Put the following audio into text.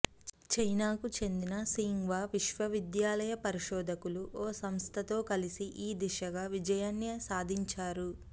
చైనాకు చెందిన సింఘ్వా విశ్వవిద్యాలయ పరిశోధకులు ఓ సంస్థతో కలిసి ఈ దిశగా విజయాన్ని సాధించారు